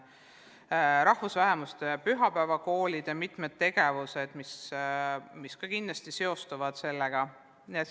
Töötavad rahvusvähemuste pühapäevakoolid ja on mitmeid tegevusi, mis ka kindlasti keeleõppega seostuvad.